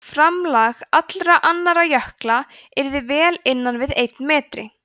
framlag allra annarra jökla yrði vel innan við einn metri